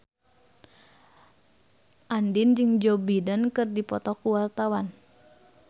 Andien jeung Joe Biden keur dipoto ku wartawan